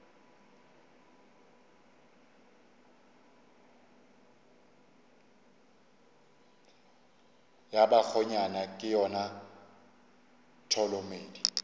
ya bakgonyana ke yona tholomedi